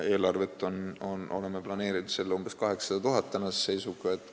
Eelarvesse oleme tänase seisuga planeerinud umbes 800 000 eurot.